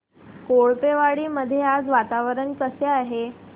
कोळपेवाडी मध्ये आज वातावरण कसे आहे